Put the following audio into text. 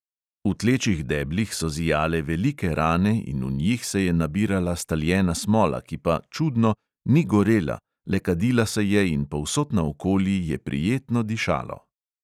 V tlečih deblih so zijale velike rane in v njih se je nabirala staljena smola, ki pa, čudno, ni gorela, le kadila se je in povsod naokoli je prijetno dišalo.